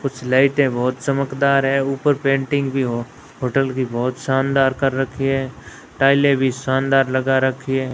कुछ लाइटें बहोत चमकदार है ऊपर पेंटिंग भी हो होटल की बहोत शानदार कर रखी है टाइलें भी शानदार लगा रखी है।